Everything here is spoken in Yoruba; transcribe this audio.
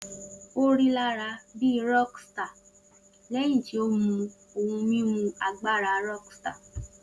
O rilara bi rockstar lẹhin ti o mu ohun mimu agbara rockstar